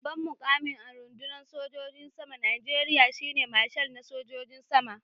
Babban mukami a rundunar sojin saman Najeriya shi ne Marshal na sojojin sama